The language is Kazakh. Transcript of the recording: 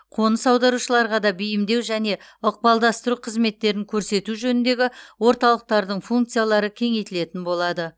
қоныс аударушыларға да бейімдеу және ықпалдастыру қызметтерін көрсету жөніндегі орталықтардың функциялары кеңейтілетін болады